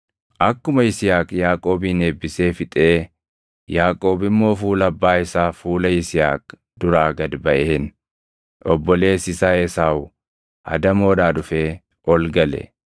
Akkuma Yisihaaq Yaaqoobin eebbisee fixee Yaaqoob immoo fuula abbaa isaa fuula Yisihaaq duraa gad baʼeen, obboleessi isaa Esaawu adamoodhaa dhufee ol gale.